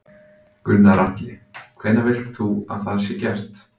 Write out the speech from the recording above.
Gunnar Atli: Hvenær vilt þú að það sé gert?